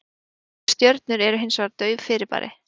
Fjarlægar stjörnur eru hins vegar dauf fyrirbæri.